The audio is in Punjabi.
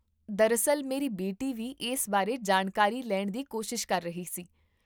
ਦਰਅਸਲ, ਮੇਰੀ ਬੇਟੀ ਵੀ ਇਸ ਬਾਰੇ ਜਾਣਕਾਰੀ ਲੈਣ ਦੀ ਕੋਸ਼ਿਸ਼ ਕਰ ਰਹੀ ਸੀ